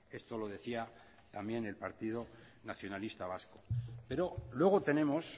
esto lo decía también el partido nacionalista vasco pero luego tenemos